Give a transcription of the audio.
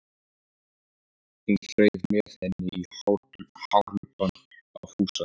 Hún þreif með henni í hárlubbann á Fúsa.